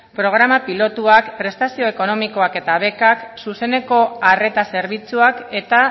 programa pilotuak prestazio ekonomiak eta bekak zuzeneko arreta zerbitzuak eta